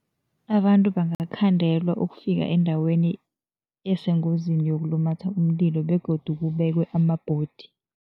Abantu bangakhandelwa ukufika eendaweni esengozini yokulumatha umlilo begodu kubekwe amabhodi.